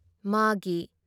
ꯃꯥꯒꯤ